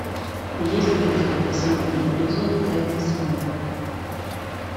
есть ли у тебя последний эпизод тайны смолвиля